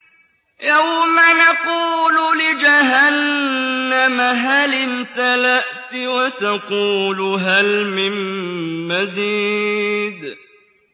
يَوْمَ نَقُولُ لِجَهَنَّمَ هَلِ امْتَلَأْتِ وَتَقُولُ هَلْ مِن مَّزِيدٍ